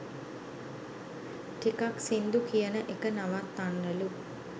ටිකක් සිංදු කියන එක නවත්තන්නලු"